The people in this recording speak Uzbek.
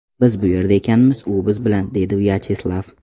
Biz bu yerda ekanmiz, u biz bilan”, deydi Vyacheslav.